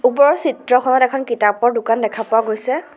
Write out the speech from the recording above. ওপৰৰ চিত্ৰখনত এখন কিতাপৰ দোকান দেখা পোৱা গৈছে।